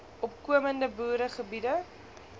opkomende boere biede